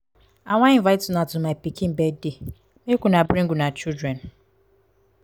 i wan invite una to my pikin birthday. make una bring una children.